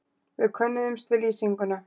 Við könnuðumst við lýsinguna.